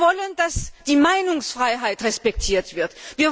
Wir wollen, dass die Meinungsfreiheit respektiert wird.